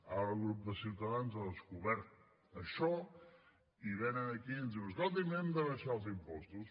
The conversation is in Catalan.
ara el grup de ciutadans ha descobert això i venen aquí i ens diuen escolti’m hem d’abaixar els impostos